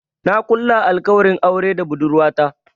Na kulla alkawarin aure da budurwata.